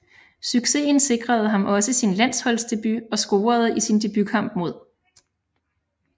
Successen sikrede ham også sin landsholdsdebut og scorede i sin debutkamp mod